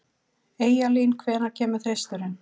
Eyjalín, hvenær kemur þristurinn?